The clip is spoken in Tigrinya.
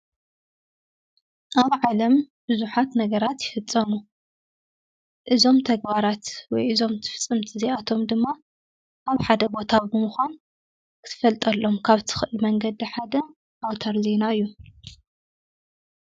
ኣብ ዓለም ብዙሓት ነገራት ይፍፀሙ። እዞም ተግባራት ወይ እዞም ትፍፅምቲ እዚኣቶም ድማ ኣብ ሓደ ቦታ ብምኻን ክትፈልጠሎም ካብ እትኽእል መንገዲ ሓደ ኣውታር ዜና እዩ።